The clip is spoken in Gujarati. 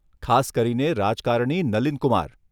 ખાસ કરીને રાજકારણી નલિન કુમાર.